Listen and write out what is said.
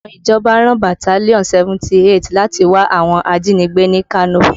Àwọn ìjọba rán bataliọnú 78 láti wá àwọn ajínigbé ní Kano